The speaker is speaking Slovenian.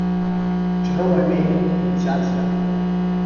Čarovno ime, iniciacija.